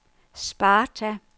Sparta